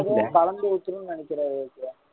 petrol லும் அதும் கலந்து ஊத்தணும்னு நினைக்கிறேன் விவேக்